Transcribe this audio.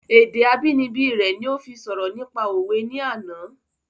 Èdè abínibí rẹ ni ó fi sọ̀rọ̀ nípa òwe ní àná